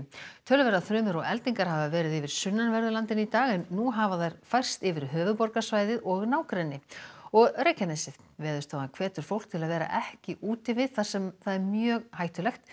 töluverðar þrumur og eldingar hafa verið yfir sunnanverðu landinu í dag en nú hafa þær færst yfir höfuðborgarsvæði og nágrenni og Reykjanesið Veðurstofan hvetur fólk til að vera ekki úti við þar sem mjög hættulegt